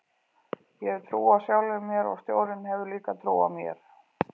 Ég hef trú á sjálfum mér og stjórinn hefur líka trú á mér